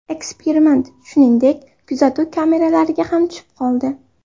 Eksperiment, shuningdek, kuzatuv kameralariga ham tushib qoldi.